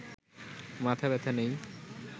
মাথাব্যথা নেই